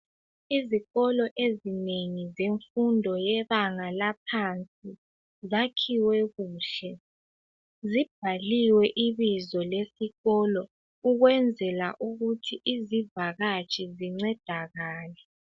Izikolo ezinengi zemfundo yebanga laphansi zakhiwe kuhle. Zibhaliwe ibizo lesikolo ukwenzela ukuthi izivakatshi zincedakale.